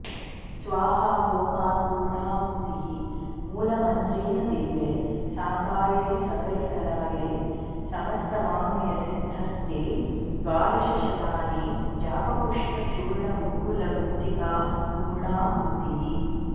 स्वाहा होमात् पूर्णाहूतिः मूलमन्त्रेण देव्यै साङ्गायै सपरिकरायै समस्तवाङ्मयसिद्धर्थे द्वादशशतानि जापपुष्पचूर्णगुग्गुलगुटिका पूर्णाहूतिः